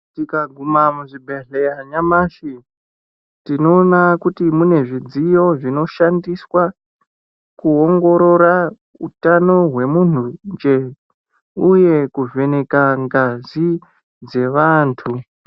Tikaguma muzvibhehleya nyamashi tinooma kuti mune zvidziyo zvinoshandiswa kuongorora utano hwemunhunje uye kuvheneka ngazi dzevantu.